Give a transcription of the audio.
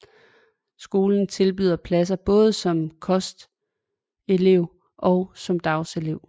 Skolen tilbyder pladser både som kostelev og som dagelev